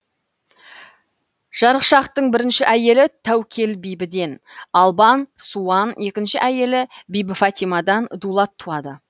жарықшақтың бірінші әйелі тәукел бибіден албан суан екінші әйелі бибіфатимадан дулат туады